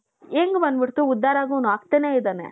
ಹೆಂಗ್ ಬಂದ್ಬಿಡ್ತು ಉದ್ಧಾರ ಆಗೋನು ಆಗ್ತಾನೆ ಇದ್ದಾನೆ.